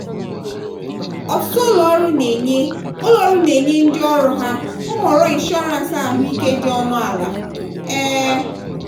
ọtụtụ ụlọọrụ na-enye ụlọọrụ na-enye ndị ọrụ ha nhọrọ inshọrans ahụike dị ọnụ ala. um